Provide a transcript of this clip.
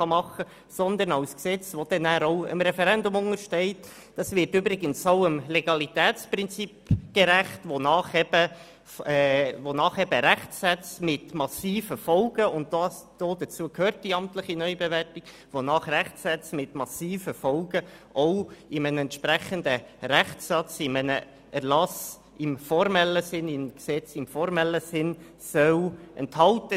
Damit untersteht es ebenfalls dem Referendum und wird auch dem Legalitätsprinzip gerecht, wonach Rechtssätze mit massiven Folgen – wie bei der amtlichen Neubewertung – in einem entsprechenden Rechtssatz, in einem Gesetz im formellen Sinne, enthalten sein sollen.